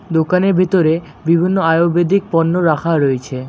দোকানের ভিতরে বিভিন্ন আয়ুর্বেদিক পণ্য রাখা রয়েছে।